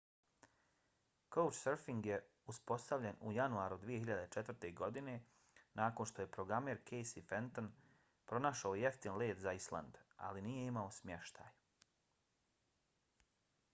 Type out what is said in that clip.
couchsurfing je uspostavljen u januaru 2004. godine nakon što je programer casey fenton pronašao jeftin let za island ali nije imao smještaj